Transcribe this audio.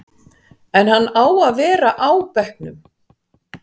En á hann að vera á bekknum?